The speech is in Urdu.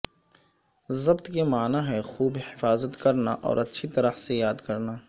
ضبط کے معنی ہیں خوب حفاظت کرنا اور اچھی طرح سے یاد کرنا